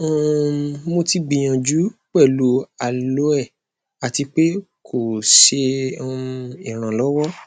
um mo ti gbiyanju pẹlu aloe ati pe ko ṣe um iranlọwọ